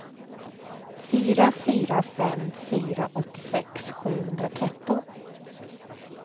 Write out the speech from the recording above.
fyra fyra fem fyra åttiosex sjuhundratretton